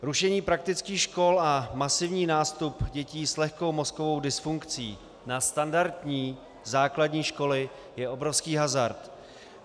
Rušení praktických škol a masivní nástup dětí s lehkou mozkovou dysfunkcí na standardní základní školy je obrovský hazard.